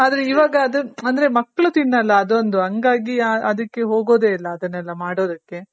ಅಂದ್ರೆ ಇವಾಗ ಅದು ಅಂದ್ರೆ ಮಕ್ಳ್ ತಿನ್ನೋಲ್ಲ ಅದೊಂದು ಹಂಗಾಗಿ ಅದಕ್ಕೆ ಹೋಗೋದೇ ಇಲ್ಲ ಅದನ್ನೆಲ್ಲಾ ಮಾಡೋದಕ್ಕೆ.